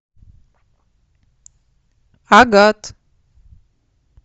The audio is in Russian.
агат